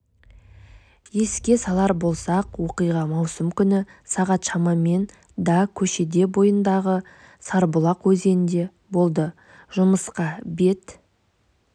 еске салар болсақ оқиға маусым күні сағат шамамен да көшесі бойындағы сарыбұлақ өзенінде болды жұмысқа бет